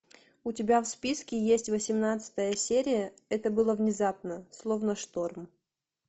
у тебя в списке есть восемнадцатая серия это было внезапно словно шторм